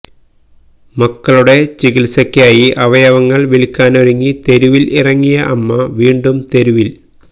മക്കളുടെ ചികിത്സക്കായി അവയവങ്ങള് വില്ക്കാനൊരുങ്ങി തെരുവില് ഇറങ്ങിയ അമ്മ വീണ്ടും തെരുവിൽ